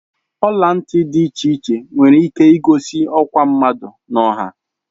ọla ntị dị iche iche nwere ike igosi ọkwa mmadụ n'ọha